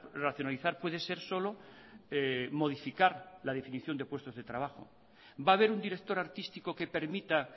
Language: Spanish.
racionalizar puede ser solo modificar la definición de puestos de trabajo va a haber un director artístico que permita